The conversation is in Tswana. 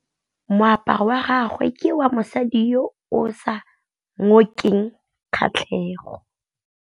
Moaparô wa gagwe ke wa mosadi yo o sa ngôkeng kgatlhegô.